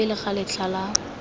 kwa pele ga letlha la